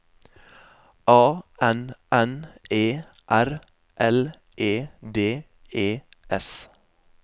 A N N E R L E D E S